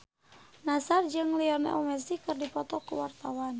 Nassar jeung Lionel Messi keur dipoto ku wartawan